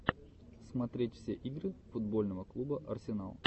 смотреть все игры футбольного клуба арсенал